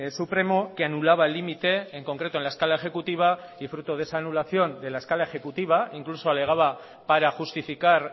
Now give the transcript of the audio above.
supremo que anulaba el límite en concreto en la escala ejecutiva y fruto de esa anulación de la escala ejecutiva incluso alegaba para justificar